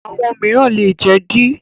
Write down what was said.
Àwọn ọmọ mìíràn lè jẹ d